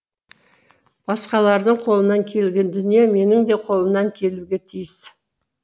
басқалардың қолынан келген дүние менің де қолымнан келуге тиіс